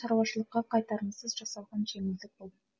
шаруашылыққа қайтарымсыз жасалған жеңілдік бұл